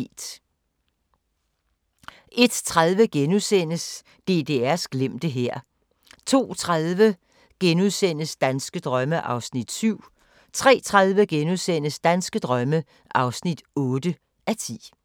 01:30: DDR's glemte hær * 02:30: Danske drømme (7:10)* 03:30: Danske drømme (8:10)*